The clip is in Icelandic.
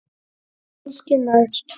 Kannski næst?